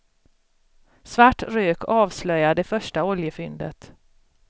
Svart rök avslöjar det första oljefyndet.